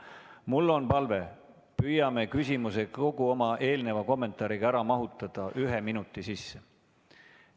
Mul on palve, et püüame küsimuse ja kogu oma eelneva kommentaari ära mahutada ühe minuti sisse.